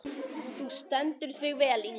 Þú stendur þig vel, Ingvaldur!